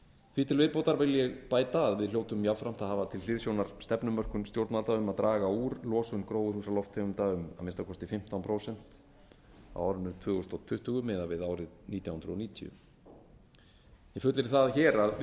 því til viðbótar vil ég bæta að við hljótum jafnframt að hafa til hliðsjónar stefnumörkun stjórnvalda um að draga úr losun gróðurhúsalofttegunda um að minnsta kosti fimmtán prósent á árinu tvö þúsund tuttugu miðað við árið nítján hundruð níutíu ég fullyrði það hér að við